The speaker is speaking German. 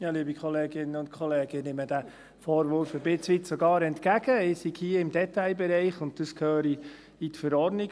Ich nehme diesen Vorwurf teilweise sogar entgegen, ich sei hier im Detailbereich und das gehöre in die Verordnung.